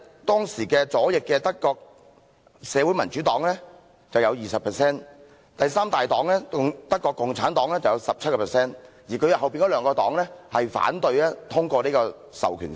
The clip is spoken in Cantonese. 當時德國左翼的社會民主黨有 20% 議席，第三大黨德國共產黨有 17%， 而這兩個政黨則反對通過《授權法》。